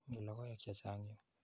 Mi logoek che chang' yu.